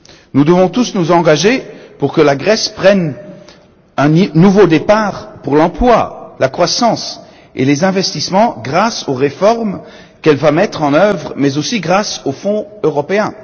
Nous devons tous nous engager pour que la Grèce prenne un nouveau départ pour l'emploi, la croissance et les investissements grâce aux réformes qu'elle va mettre en œuvre, mais aussi grâce aux Fonds européens.